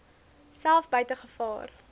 self buite gevaar